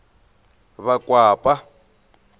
vakwapa